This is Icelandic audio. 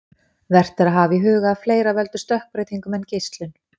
Vert er að hafa í huga að fleira veldur stökkbreytingum en geislun.